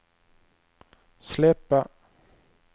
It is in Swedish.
släppa